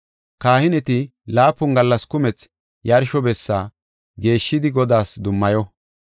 Kahineti laapun gallas kumethi yarsho bessa geeshshidi Godaas dummayo.